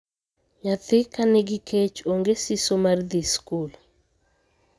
Nyathi ka nigi kech onge siso mar dhii skul.